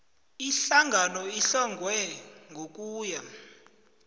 ihlangano ehlonywe ngokuya